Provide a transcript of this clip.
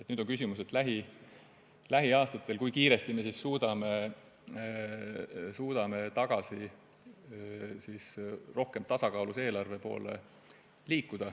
Nüüd on küsimus selles, kui kiiresti me suudame lähiaastatel liikuda tagasi rohkem tasakaalus oleva eelarve poole.